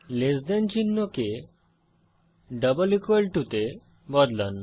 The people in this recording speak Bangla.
লেস দেন চিহ্নকে ডাবল ইকুয়াল টু তে বদলান